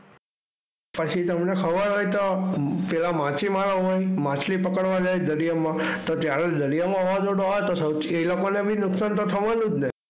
પછી તમને ખબર હોય તો પેલા માછીમારાઓ માછલી પકડવા જાય દરિયામાં તો ત્યારે દરિયામાં વાવાઝોડું આવે તો સૌ એ લોકોને બી તો નુકસાન તો થવાનું જ ને.